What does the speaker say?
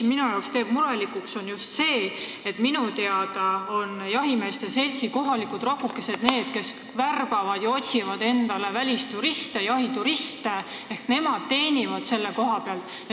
Mind teeb murelikuks just see, et minu teada on jahimeeste seltsi kohalikud rakukesed need, kes värbavad ja otsivad jahituriste, ehk nemad teenivad selle pealt.